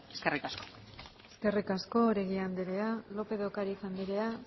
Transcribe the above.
eskerrik asko eskerrik asko oregi andrea lópez de ocariz andrea